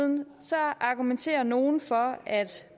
argumenterer nogen for at